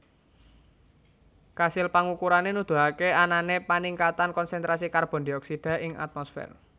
Kasil pangukurané nuduhaké anané paningkatan konsentrasi karbon dioksida ing atmosfer